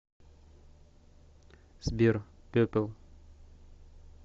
сбер перпл